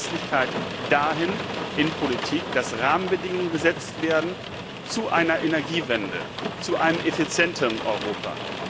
Verlässlichkeit in die Politik dahingehend, dass Rahmenbedingungen gesetzt werden zu einer Energiewende, zu einem effizienten Europa.